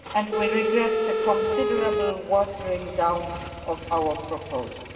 We regret the considerable watering down of our proposal.